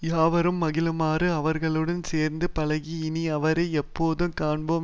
யாவரும் மகிழுமாறு அவர்களுடன் சேர்ந்து பழகி இனி அவரை எப்போதும் காண்போம்